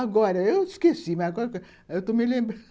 Agora, eu esqueci, mas agora eu estou me lembrando